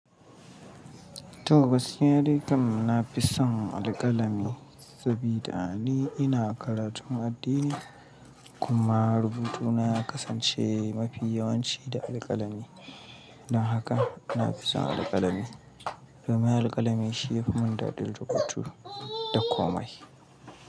To, gaskiya dai kam na fi son alƙalami sabida ni ina karatun addini kuma rubutu na ya kasance mafi yawanci da alƙalami. Don haka ina fi son alƙalami domin alƙalami shi yafi mun daɗin rubutu da komai.